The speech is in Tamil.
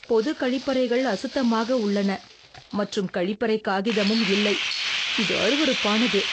பொது கழிப்பறைகள் அசுத்தமாக உள்ளன மற்றும் கழிப்பறை காகிதமூம் இல்லை, இது அருவறுப்பானது.